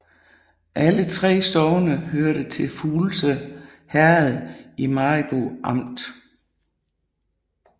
Alle 3 sogne hørte til Fuglse Herred i Maribo Amt